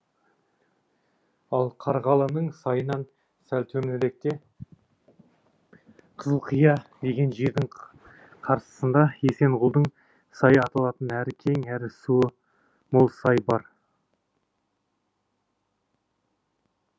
ал қарғалының сайынан сәл төменіректе қызылқия деген жердің қарсысында есенғұлдың сайы аталатын әрі кең әрі суы мол сай бар